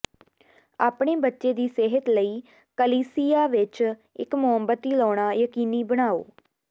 ਆਪਣੇ ਬੱਚੇ ਦੀ ਸਿਹਤ ਲਈ ਕਲੀਸਿਯਾ ਵਿਚ ਇਕ ਮੋਮਬੱਤੀ ਲਾਉਣਾ ਯਕੀਨੀ ਬਣਾਓ